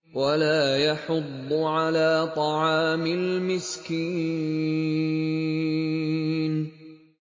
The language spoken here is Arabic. وَلَا يَحُضُّ عَلَىٰ طَعَامِ الْمِسْكِينِ